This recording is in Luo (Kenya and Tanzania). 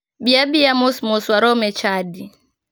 Bi abiya mos mos warom e chadi.